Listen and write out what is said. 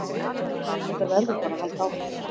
Þetta verður bara að halda áfram